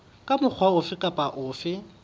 ka mokgwa ofe kapa ofe